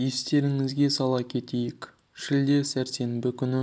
естеріңізге сала кетейік шілде сәрсенбі күні